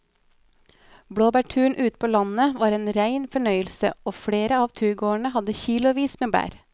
Blåbærturen ute på landet var en rein fornøyelse og flere av turgåerene hadde kilosvis med bær.